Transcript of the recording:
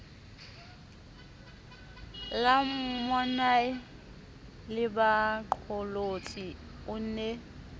la monnae lebaqolotsi o ne